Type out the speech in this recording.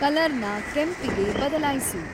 ಕಲರ್‌ನ ಕೆಂಪಿಗೆ ಬದಲಾಯ್ಸು